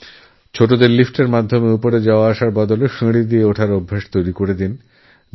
বাচ্চাদের লিফ্টএরপরিবর্তে সিঁড়ি ব্যবহার করার অভ্যাস করানো হোক